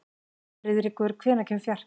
Friðríkur, hvenær kemur fjarkinn?